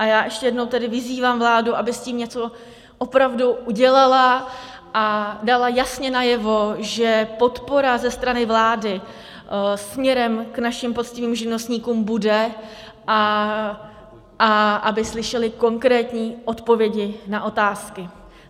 A já ještě jednou tedy vyzývám vládu, aby s tím něco opravdu udělala a dala jasně najevo, že podpora ze strany vlády směrem k našim poctivým živnostníkům bude, a aby slyšeli konkrétní odpovědi na otázky.